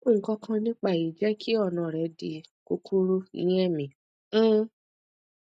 nkankan nipa eyi jẹ ki ọna rẹ di kukuru ni ẹmi um